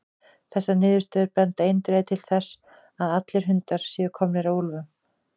Þessar niðurstöður benda eindregið til þess að allir hundar séu komnir af úlfum.